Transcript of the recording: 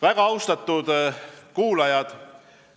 Väga austatud kuulajad!